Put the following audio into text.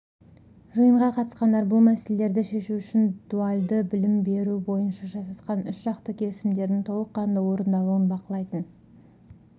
жиынға қатысқандар бұл мәселелерді шешу үшін дуальды білім беру бойынша жасасқан үшжақты келісімдердің толыққанды орындалуын бақылайтын